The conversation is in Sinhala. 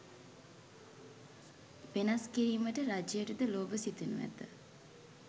වෙනස් කිරීමට රජයටද ලෝභ සිතෙනු ඇත